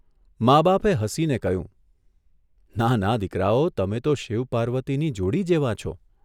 મા બાપે હસીને કહ્યું, ' ના ના દીકરાઓ તમે તો શિવ પાર્વતીની જોડી જેવાં છો .